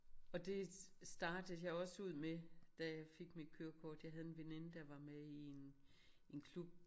Og det startede jeg også ud med da jeg fik mit kørekort jeg havde en veninde der var med i en en klub